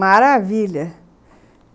Maravilha!